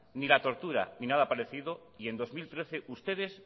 ni la tortura ni nada parecido y en dos mil trece ustedes